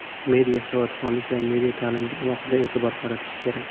Media savodxonlik va media ta’limga alohida e’tibor qaratish kerak.